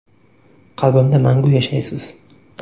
Qalbimda mangu yashaysiz.